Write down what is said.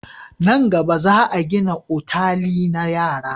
Nan gaba, za a gina otali na yara.